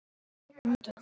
og ég spyr: hví ekki?